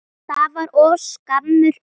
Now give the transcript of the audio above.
Ekki bara enn eins árs?